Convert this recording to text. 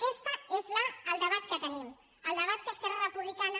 aquest és el debat que tenim el debat que esquerra republicana